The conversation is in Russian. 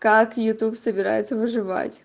как ютуб собирается выживать